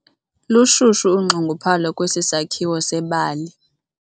Lushushu unxunguphalo kwesi sakhiwo sebali.